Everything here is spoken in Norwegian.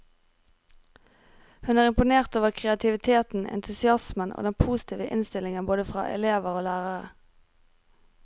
Hun er imponert over kreativiteten, entusiasmen og den positive innstillingen fra både elever og lærere.